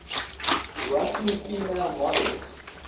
russian female models